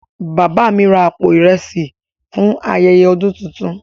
Baba mi ra àpò ìrẹsì fún ayẹyẹ ọdún tuntun.